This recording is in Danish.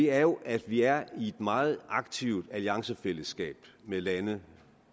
er jo at vi er i et meget aktivt alliancefællesskab med lande